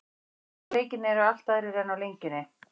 Stuðlarnir á leikinn eru allt aðrir en á Lengjunni.